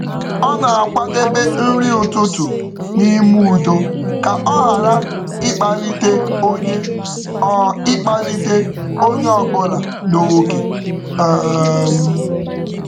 Ọ na-akwadebe nri ụtụtụ n’ime udo ka ọ ghara ịkpalite onye ọ bụla n’oge.